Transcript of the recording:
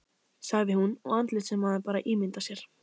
sagði hún, og andlit sem maður bara ímyndar sér